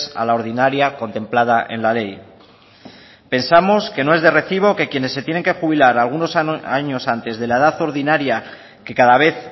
a la ordinaria contemplada en la ley pensamos que no es de recibo que quienes se tienen que jubilar algunos años antes de la edad ordinaria que cada vez